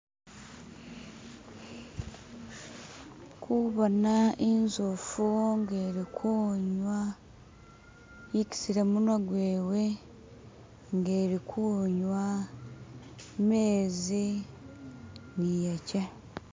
Ndi kubona inzofu nga e'likunywa yekisile munywa gwewe nga e'likunywa mezi ni yeche.